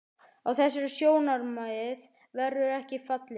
Á þessi sjónarmið verður ekki fallist.